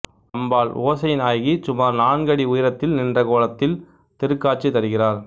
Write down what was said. அம்பாள் ஓசை நாயகி சுமார் நான்கு அடி உயரத்தில் நின்ற கோலத்தில் திருக் காட்சி தருகிறார்